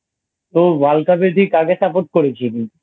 তো World Cup এ দিয়ে কাকে Support করেছিলি?